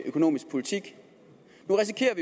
økonomisk politik